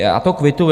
Já to kvituji.